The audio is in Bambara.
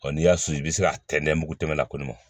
Ɔ n'i y'a susu i bi se k'a tɛntɛn mugu tɛmɛ kɔnɔ